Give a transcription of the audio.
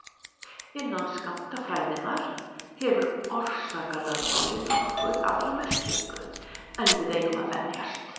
Innan skammtafræðinnar hefur orsakalögmálið nokkuð aðra merkingu en við eigum að venjast.